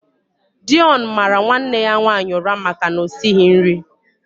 Deon mara nwanne ya nwaanyị ụra maka na o esighị nri.